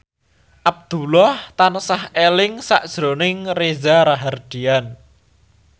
Abdullah tansah eling sakjroning Reza Rahardian